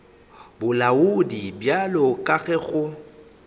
bolaodi bjalo ka ge go